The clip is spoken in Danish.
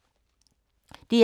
DR K